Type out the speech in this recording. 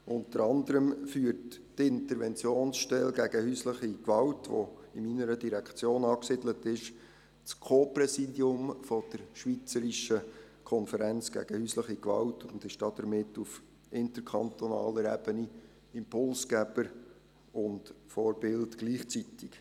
Unter anderem führt die Interventionsstelle gegen häusliche Gewalt, die in meiner Direktion angesiedelt ist, das Co-Präsidium der Schweizerischen Konferenz gegen Häusliche Gewalt (SKHG) und ist damit auf interkantonaler Ebene Impulsgeber und Vorbild gleichzeitig.